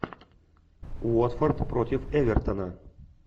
уотфорд против эвертона